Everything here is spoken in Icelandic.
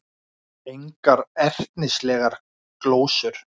Engar ertnislegar glósur.